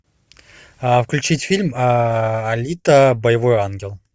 включить фильм алита боевой ангел